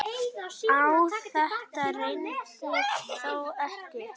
Á þetta reyndi þó ekki.